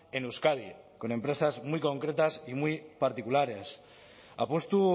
en euskadi con empresas muy concretas y muy particulares apustu